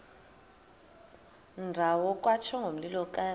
ndawo kwatsho ngomlilokazi